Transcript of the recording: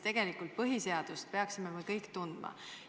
Tegelikult me peaksime põhiseadust kõik tundma.